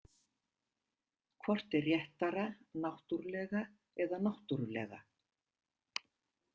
Hvort er réttara náttúrlega eða náttúrulega?